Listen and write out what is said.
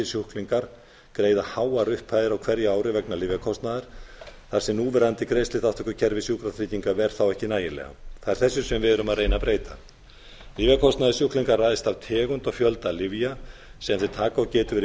sjúklingar greiða háar upphæðir á hverju ári vegna lyfjakostnaðar þar sem núverandi greiðsluþátttökukerfi sjúkratrygginga ver þá ekki nægilega það er þessu sem við erum að reyna að breyta lyfjakostnaður sjúklinga ræðst af tegund og fjölda lyfja sem þeir taka og betur verið